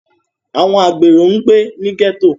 Àwọn àgbero ń gbé ní gẹ́tò